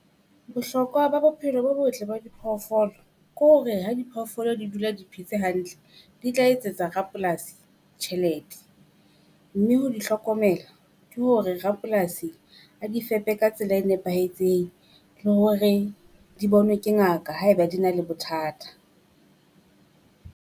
Bohlokwa ba bophelo bo botle ba di phoofolo ke hore ha di phoofolo di dula di phetse hantle, di tla etsetsa rapolasi tjhelete. Mme ho di hlokomela ke hore rapolasi a di fepe ka tsela e nepahetseng le hore di bonwe ke ngaka haeba di na le bothata.